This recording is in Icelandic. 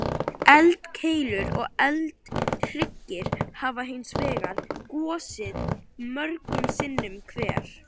Eldkeilur og eldhryggir hafa hins vegar gosið mörgum sinnum hver.